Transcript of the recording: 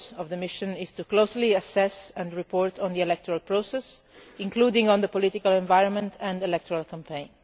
purpose of the mission is closely to assess and report on the electoral process, including on the political environment and electoral campaign.